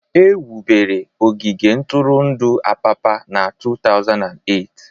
Ewubere ogige ntụrụndụ Apapa na 2008